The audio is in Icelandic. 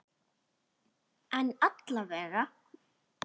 En alla vega.